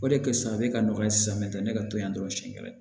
O de kɛ sisan ne ka nɔgɔya ye sisan mɛ tɛ ne ka to yan dɔrɔn siɲɛ kelen